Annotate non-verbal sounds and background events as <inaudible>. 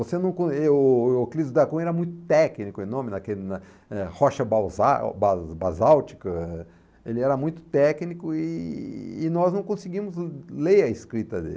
<unintelligible> não correu o o Euclides da Cunha era muito técnico, o nome naquela na eh rocha basa ba basálltica, ele era muito técnico e e nós não conseguimos <unintelligible> ler a escrita dele.